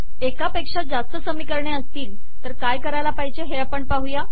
एकापेक्षा जास्त समीकरणे असतील तर तुम्ही काय कराल